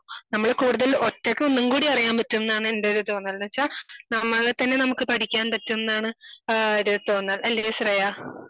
നമ്മള് കൂടുതൽ ഒറ്റക്ക് ഒന്നും കൂടി അറിയാൻ പറ്റും ന്നാണ് എന്റെ ഒരു തോന്നൽ എന്ന് വെച്ചാൽ നമ്മളെ തന്നെ നമുക്ക് പഠിക്കാൻ പറ്റും ന്നാണ് ഏഹ് ഒരു തോന്നൽ. അല്ലയോ ശ്രേയാ